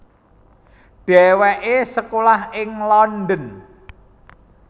Dhéwéké sekolah ing London